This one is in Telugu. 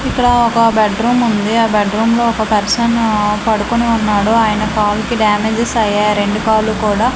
ఇక్కడ ఒక బెడ్ రూముంది ఆ బెడ్ రూమ్లో ఒక పర్సను ఆ పడుకొని ఉన్నాడు ఆయన కాలు కి డ్యామేజెస్ అయ్యాయి రెండు కాళ్ళు కూడా--